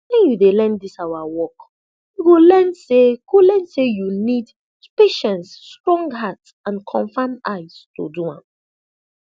when you dey learn dis awa work you go learn say go learn say you need patience strong heart and confam eyes to do am